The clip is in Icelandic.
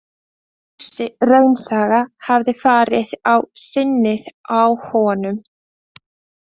Þessi raunasaga hafði farið á sinnið á honum.